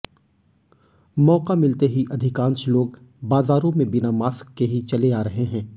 मौका मिलते ही अधिकांश लोग बाजारों में बिना मास्क के ही चले आ रहे हैं